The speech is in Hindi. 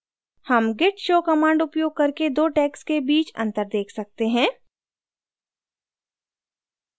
हम git show command उपयोग करके दो tags के बीच अंतर देख सकते हैं